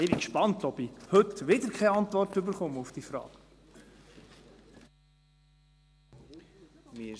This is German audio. Ich bin gespannt, ob ich heute keine Antwort auf diese Frage erhalte.